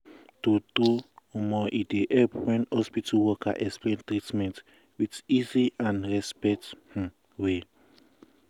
true true e um dey help wen hospital worker explain treatment with easy and respect um way. um